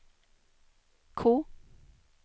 K